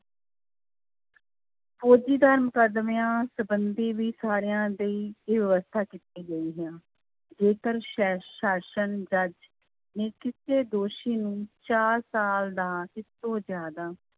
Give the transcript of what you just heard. ਮੁਕੱਦਮਿਆਂ ਸੰਬੰਧੀ ਵੀ ਸਾਰਿਆਂ ਦੀ ਇਹ ਵਿਵਸਥਾ ਕੀਤੀ ਗਈ ਹੈ, ਜੇਕਰ ਸੈ ਸ਼ਾਸ਼ਨ ਜੱਜ ਨੇ ਕਿਸੇ ਦੋਸ਼ੀ ਨੂੰ ਚਾਰ ਸਾਲ ਜਾਂ ਇਸ ਤੋਂ ਜ਼ਿਆਦਾ,